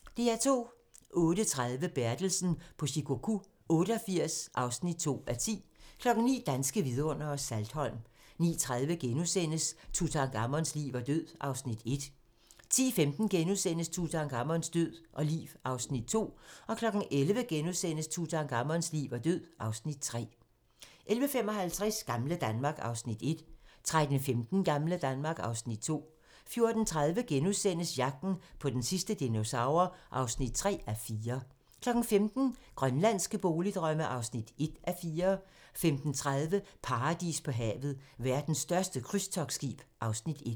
08:30: Bertelsen på Shikoku 88 (2:10) 09:00: Danske vidundere: Saltholm 09:30: Tutankhamons liv og død (Afs. 1)* 10:15: Tutankhamons liv og død (Afs. 2)* 11:00: Tutankhamons liv og død (Afs. 3)* 11:55: Gamle Danmark (Afs. 1) 13:15: Gamle Danmark (Afs. 2) 14:30: Jagten på den sidste dinosaur (3:4)* 15:00: Grønlandske boligdrømme (1:4) 15:30: Paradis på havet - Verdens største krydstogtskib (Afs. 1)